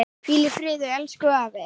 Hvíl í friði elsku afi.